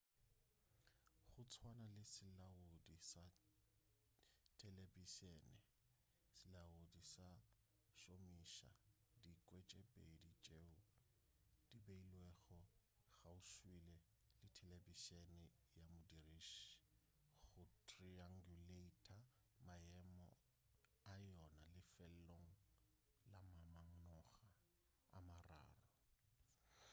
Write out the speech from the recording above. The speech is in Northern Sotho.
go tswana le selaodi sa telebišene selaodi se šomiša dikwe tše pedi tšeo di beilwego kgauswi le telebišene ya modiriši go triangulata maemo a yona lefelong la mamanoga a mararo